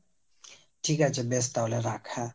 ঠিক আছে বেশ তাহলে রাখ হ্যাঁ।